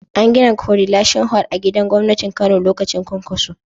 An gina korilashin hol a gidan gwamnatin Kano lokacin Kwankwaso.